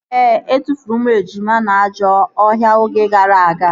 Ee, etufuru ụmụ ejima na ajọ ọhịa oge gara aga